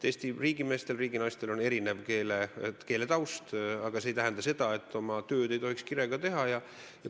Eesti riigimeestel ja riiginaistel on erinev keeletaust, aga see ei tähenda, et oma tööd ei saaks kirega teha.